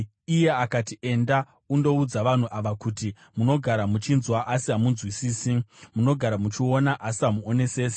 Iye akati, “Enda undoudza vanhu ava uti, “ ‘Munogara muchinzwa, asi hamumbonzwisisi; munogara muchiona, asi hamuonesesi.’